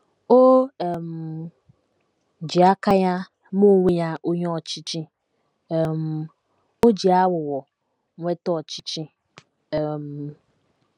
O um ji aka ya mee onwe ya onye ọchịchị, um o ji aghụghọ nweta ọchịchị. um